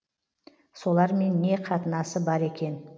солармен не қатынасы бар екен